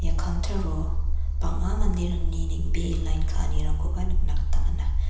counter-o bang·a manderangni neng·bee lain ka·anirangkoba nikna gita man·a.